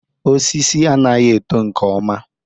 Osisi anaghị eto nke ọma.